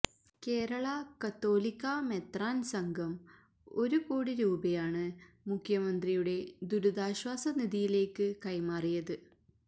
കേരള കത്തോലിക്കാ മെത്രാന് സംഘം ഒരു കോടി രൂപയാണ് മുഖ്യമന്ത്രിയുടെ ദുരിതാശ്വാസ നിധിയിലേക്ക് കൈമാറിയത്